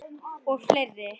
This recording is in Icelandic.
Og fleiri.